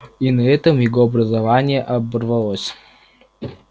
и на этом его образование оборвалось